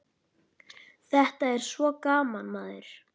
Þetta er svo gaman, maður.